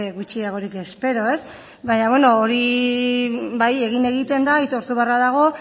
gutxiagorik espero baina hori bai egin egiten da aitortu beharra dago